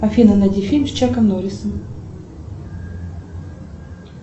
афина найди фильм с чаком норрисом